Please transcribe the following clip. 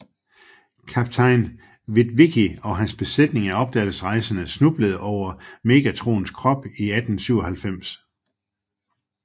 Kaptajn Witwicky og hans besætning af opdagelsesrejsende snublede over Megatrons krop i 1897